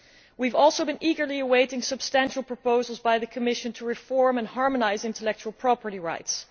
We have also been eagerly awaiting substantial proposals by the Commission to reform and harmonise intellectual property rights.